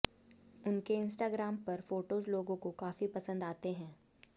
उनके इन्स्टाग्राम पर फोटोज लोगों को काफी पसंद आते हैं